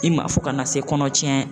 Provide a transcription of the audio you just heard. I ma fo kana se kɔnɔ tiɲɛ